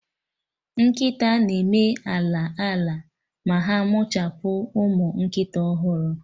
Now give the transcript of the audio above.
Nkịta na-eme ala ala ma ha mụchapụ ụmụ nkịta ọhụrụ